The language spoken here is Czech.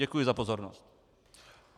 Děkuji za pozornost.